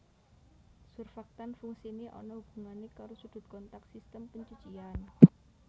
Surfaktan fungsiné ana hubungané karo sudut kontak sistem pencucian